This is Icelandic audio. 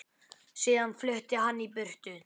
Síðan flutti hann í burtu.